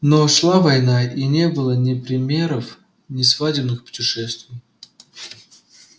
но шла война и не было ни примеров ни свадебных путешествий